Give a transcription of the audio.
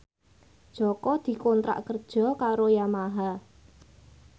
Jaka dikontrak kerja karo Yamaha